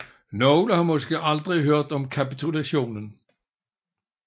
Nogle har måske aldrig hørt om kapitulationen